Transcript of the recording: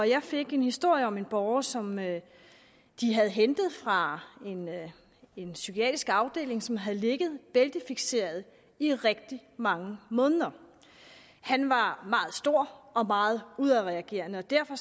jeg fik en historie om en borger som man havde hentet fra en psykiatrisk afdeling som havde ligget bæltefikseret i rigtig mange måneder han var meget stor og meget udadreagerende og derfor